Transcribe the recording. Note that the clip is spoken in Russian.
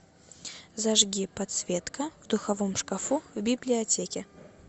зажги подсветка в духовом шкафу в библиотеке